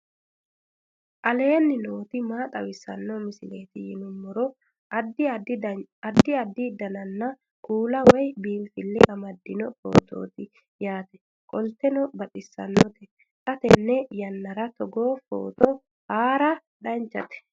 aleenni nooti maa xawisanno misileeti yinummoro addi addi dananna kuula woy biinsille amaddino footooti yaate qoltenno baxissannote xa tenne yannanni togoo footo haara danvchate